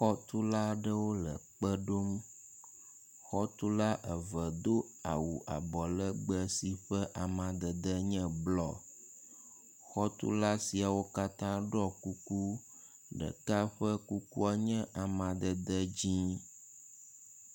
Xɔtulawo aɖewo le kpe ɖom, xɔtula eve do awu abɔ legbe si ƒe amadede nye blɔ, xɔtula siawo katã ɖɔ kuku, ɖeka ƒe kukua nye amadede dzɛ̃.